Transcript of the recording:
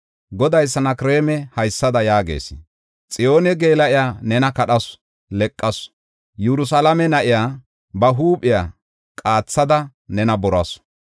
“Goday Sanakreema haysada yaagis. Xiyoone geela7iya nena kadhasu; leqasu; Yerusalaame na7iya ba huuphiya qaathada nena borasu.